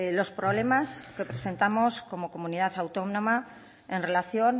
los problemas que presentamos como comunidad autónoma en relación